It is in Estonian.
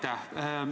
Aitäh!